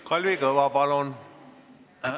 Kalvi Kõva, palun!